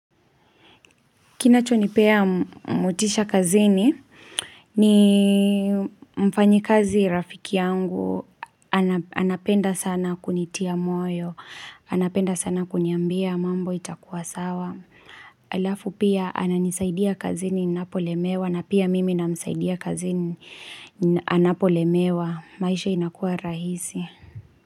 Kinachonipea motisha kazini, ni mfanyi kazi rafiki yangu, anapenda sana kunitia moyo, anapenda sana kuniambia mambo itakuwa sawa. Alafu pia ananisaidia kazini ninapolemewa na pia mimi namsaidia kazini anapolemewa. Maisha inakua rahisi.